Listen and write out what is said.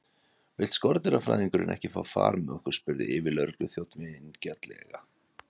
Vill skordýrafræðingurinn ekki fá far með okkur? spurði yfirlögregluþjónninn vingjarnlega.